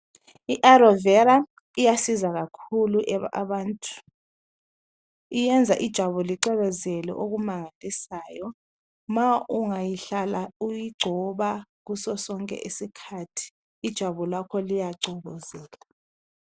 I Alovera, iyasiza kakhulu abantu, iyenza ijwabu licwebezele okumangalisiyo ma ungayihlala uyigcoba kuso sonke isikhathi ijwabu lakho liyacwebezela